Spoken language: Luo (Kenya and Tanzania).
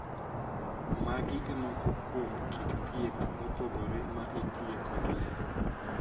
Magi e moko kuom kit thieth mopogore ma itiye kod ler.